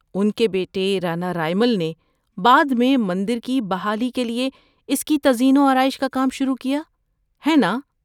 ‏ان کے بیٹے رانا رائمل نے بعد میں مندر کی بحالی کے لیے اس کی تزئین و آرائش کا کام شروع کیا، ہے نا؟‏